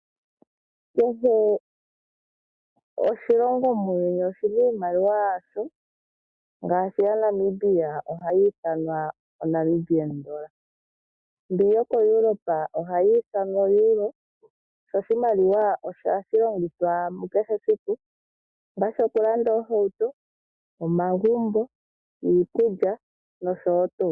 Kehe oshilongo muuyuni oshina iimaliwa yasho ngaashi yaNamibia ohayi ithanwa oodola, mbi yoko Europa ohashi ithanwa oEuro. Sho oshimaliwa ohashi longithwa mukehe esiku ongaashi okulanda oohauto, omagumbo, iikulya nosho tuu.